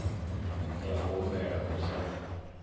ya u humbela u sa